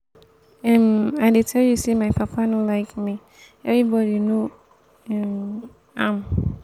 um i dey tell you say my papa no like me everybody no um am. um